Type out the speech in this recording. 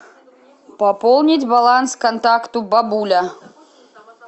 пополнить баланс контакту бабуля